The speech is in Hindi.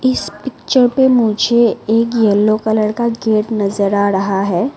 इस पिक्चर पे मुझे एक येलो कलर का गेट नजर आ रहा है।